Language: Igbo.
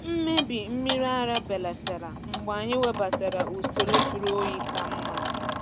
Mmebi mmiri ara belatara mgbe anyị webatara usoro jụrụ oyi ka mma.